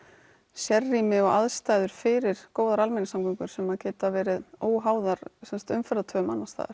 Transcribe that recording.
sérrými og aðstæður fyrir góðar almenningssamgöngur sem geta verið óháðar umferðartöfum annars staðar